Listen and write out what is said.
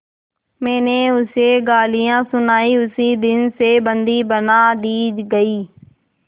मैंने उसे गालियाँ सुनाई उसी दिन से बंदी बना दी गई